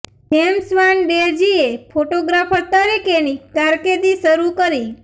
James Van Der ઝીએ photographer તરીકેની કારકિર્દી શરૂ કરી